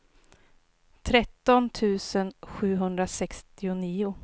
tretton tusen sjuhundrasextionio